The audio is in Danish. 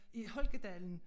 I Holkadalen